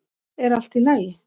Er allt í lagi?